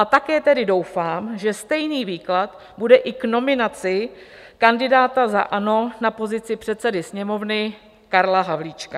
A také tedy doufám, že stejný výklad bude i k nominaci kandidáta za ANO na pozici předsedy Sněmovny Karla Havlíčka.